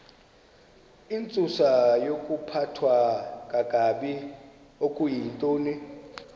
intsusayokuphathwa kakabi okuyintoni